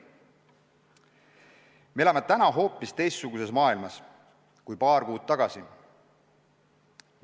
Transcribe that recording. Me elame nüüd hoopis teistsuguses maailmas kui paar kuud tagasi.